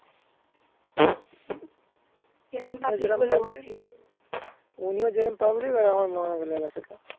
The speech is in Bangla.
উনি ও জেরোম public আর আমার মা ও লেলা চোদা